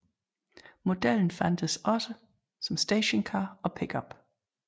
Modellen fandtes også som stationcar og pickup